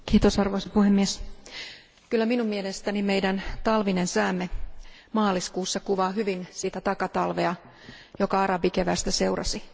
Arvoisa puhemies, kyllä minun mielestäni meidän talvinen säämme maaliskuussa kuvaa hyvin sitä takatalvea, joka arabikeväästä seurasi.